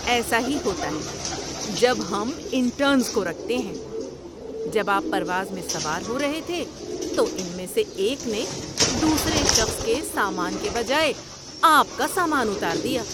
ایسا ہی ہوتا ہے جب ہم انٹرنز کو رکھتے ہیں۔ جب آپ پرواز میں سوار ہو رہے تھے تو ان میں سے ایک نے دوسرے شخص کے سامان کے بجائے آپ کا سامان اتار دیا۔